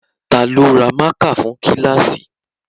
Ta ló ra mákà fún kíláàsì?